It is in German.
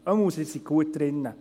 – Jedenfalls sind Sie gut dran.